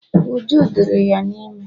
Uju diri di ya ime